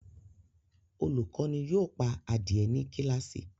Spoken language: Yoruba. Olukọni yoo pa adie ni kilasi